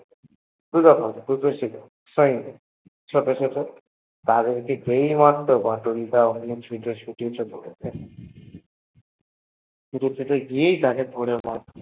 দুটো ছিল Fine সেগুলে কে সেই মারত বাটুল দা অনেক ছোটাছুটি করতেন জকেই পেট তাকেই ধরে marto